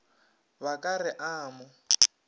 ba ka re a mo